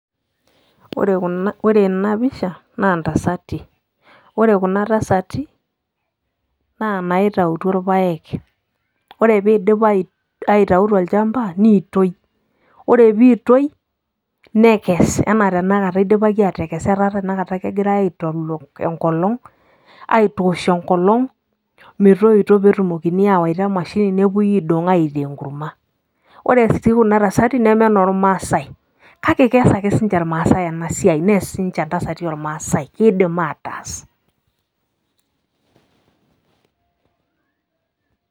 ore kuna ore ena pisha, naa natasati. ore kuna taasati, naa inaitautuo rpaek. ore pee eidip aitau tolchampa, neitoi. ore pee eitoi, nekes anaa tenakata idipaki aatekes, etaa tenakata kegirae aitolok nkolong'.aitoosh enkolong metoito. netumokini aawaita emashini nepuoi, aidong' aitaa enkurma. ore sii kuna tasati, neme inormaasae, kake kees ake sii ninche irmaasae ena siai, nees sii ninche intasati oormaasae. kidim ataas.